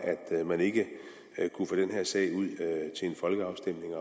at man ikke kunne få den her sag ud til en folkeafstemning